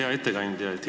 Hea ettekandja!